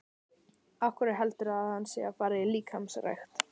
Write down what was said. Af hverju heldurðu að hann sé að fara í líkamsrækt?